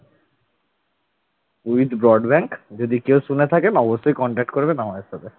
with broadband যদি কেউ শুনে থাকেন অবশ্যই contact করবেন আমাদের সাথে।